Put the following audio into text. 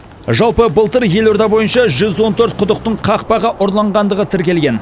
жалпы былтыр елорда бойынша жүз он төрт құдықтың қақпағы ұрланғандығы тіркелген